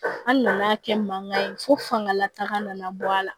An nana kɛ mankan ye fo fangalataga nana bɔ a la